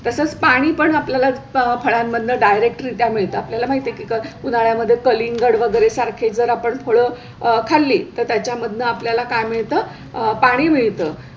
तसंच पाणी पण आपल्याला फळांमध्ये directory मिळत आपल्या ला माहिती कि उन्हाळ्या मध्ये कलिंगड वगैरे सारखे जर आपण फळ खाल्ली तर त्याच्या मध्ये आपल्याला काय मिळतं? पाणी मिळत